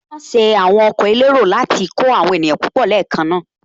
Wọ́n ṣe àwọn ọkọ̀ elérò láti kó àwọn èèyàn púpọ̀ papọ̀ ní èékánná